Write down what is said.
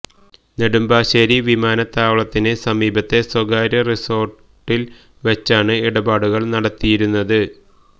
നെടുമ്പാശ്ശേരി വിമാന താവളത്തിന് സമീപത്തെ സ്വകാര്യ റിസോര്ട്ടില് വച്ചാണ് ഇടപാടുകള് നടത്തിയിരുന്നത്